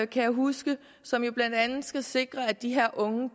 kan jeg huske som jo blandt andet skal sikre at de her unge